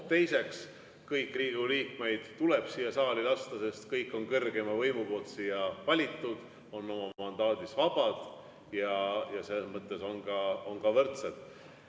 Teiseks, kõiki Riigikogu liikmeid tuleb siia saali lasta, sest kõik on kõrgeima võimu poolt siia valitud, on oma mandaadis vabad ja selles mõttes on ka võrdsed.